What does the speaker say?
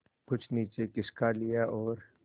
कुछ नीचे खिसका लिया और